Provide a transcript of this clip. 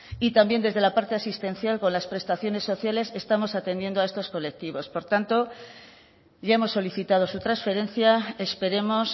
y también desde la parte asistencial con las prestaciones sociales estamos atendiendo a estos colectivos por tanto ya hemos solicitado su transferencia esperemos